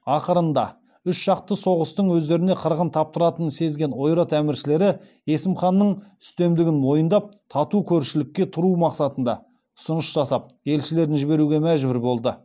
ақырында үш жақты соғыстың өздеріне қырғын таптыратынын сезген ойрат әміршілері есім ханның үстемдігін мойындап тату көршілікте тұру мақсатында ұсыныс жасап елшілерін жіберуге мәжбүр болады